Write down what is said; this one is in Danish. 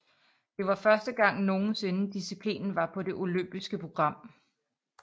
Det var første gang nogensinde disciplinen var på det olympiske program